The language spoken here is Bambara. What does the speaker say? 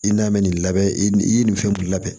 I n'a mɛn nin labɛn i ye nin fɛn labɛn